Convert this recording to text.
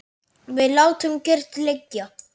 Við látum kyrrt liggja